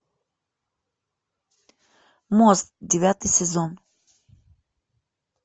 мост девятый сезон